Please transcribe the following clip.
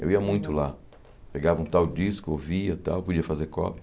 Eu ia muito lá, pegava um tal disco, ouvia tal, podia fazer cópia.